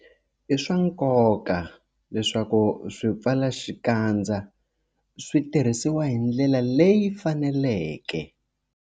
I swa nkoka leswaku swipfalaxikandza swi tirhisiwa hi ndlela leyi faneleke.